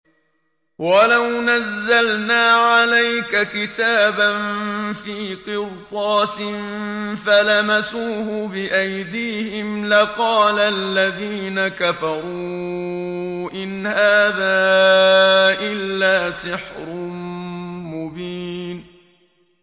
وَلَوْ نَزَّلْنَا عَلَيْكَ كِتَابًا فِي قِرْطَاسٍ فَلَمَسُوهُ بِأَيْدِيهِمْ لَقَالَ الَّذِينَ كَفَرُوا إِنْ هَٰذَا إِلَّا سِحْرٌ مُّبِينٌ